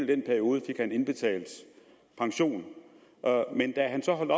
den periode fik han indbetalt pension men da han så holdt